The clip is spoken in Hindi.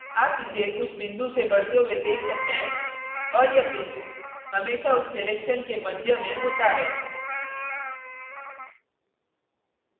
आप इसे उस बिंदु से बढ़ते हुए देख सकते हैं और यह बिंदु हमेशा उस selection के मध्य में होता है